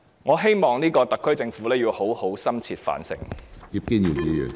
我希望特區政府好好深切反省。